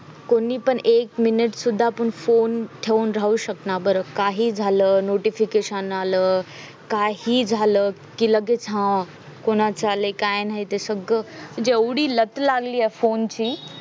कोणी पण एक मिनिट फोन ठेवून राहू शकणार बरं काही झालं notification आल काही झालं की लगेच हा कोणाचं चाललंय काय नाही ते सोहळा म्हणजे एवढी लत लागली फोनची